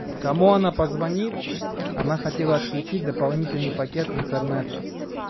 кому она позвонит она хотела отключить дополнительный пакет интернета